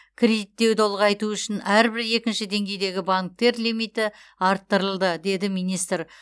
кредиттеуді ұлғайту үшін әрбір екінші деңгейдегі банктер лимиті арттырылды деді министр